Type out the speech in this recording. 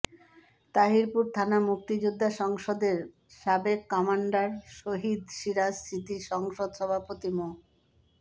তাহিরপুর থানা মুক্তিযোদ্ধা সংসদের সাবেক কমান্ডার শহীদ সিরাজ স্মৃতি সংসদ সভাপতি মো